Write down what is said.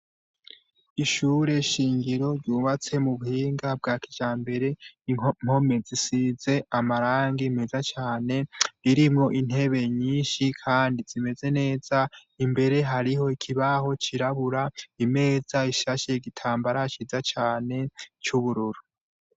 ishure shingiro ryubatse mu buhinga bwa kijambere impome zisize amarangi meza cane ririmwo intebe nyinshi kandi zimeze neza imbere hariho ikibaho cirabura imeza ishashe igitambara ciza cane c'ubururu